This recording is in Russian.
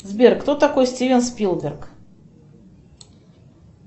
сбер кто такой стивен спилберг